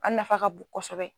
An nafa ka bon kosɛbɛ